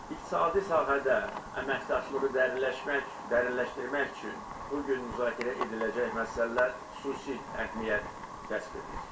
İqtisadi sahədə əməkdaşlığı dərinləşmək üçün bu gün müzakirə ediləcək məsələlər xüsusi əhəmiyyət kəsb edir.